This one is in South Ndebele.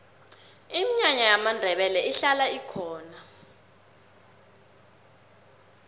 iminyanya yamandebele ihlala ikhona